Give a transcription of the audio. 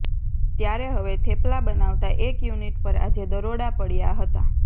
ત્યારે હવે થેપલા બનાવતા એક યુનિટ પર આજે દરોડા પાડ્યા હતા